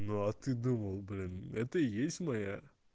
ну а ты думал блин это и есть моя